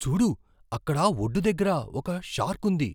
చూడు! అక్కడ ఒడ్డు దగ్గర ఒక షార్క్ ఉంది.